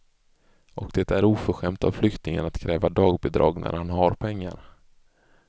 Och det är oförskämt av flyktingen att kräva dagbidrag när han har pengar.